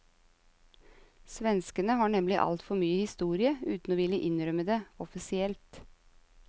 Svenskene har nemlig altfor mye historie, uten å ville innrømme det offisielt.